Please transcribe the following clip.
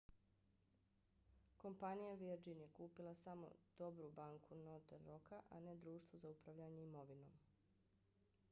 kompanija virgin je kupila samo 'dobru banku' northern rocka a ne društvo za upravljanje imovinom